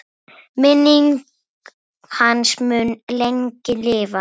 Minning hans mun lengi lifa.